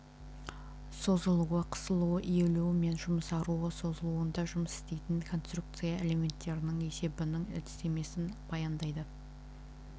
созылуы қысылуы иілуі мен жұмсаруы сызылуында жұмыс істейтін конструкция элементтерінің есебінің әдістемесін баяндайды